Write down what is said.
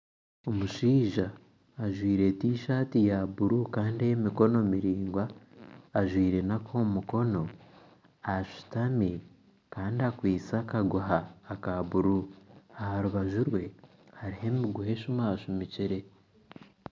Omushaija ajwaire tishati ya buru Kandi eyemikono miraingwa ajwaire nakomumukono ashutami Kandi akwaitse akaguha ka buru aharubaju rwe hariho emiguha esumasumikire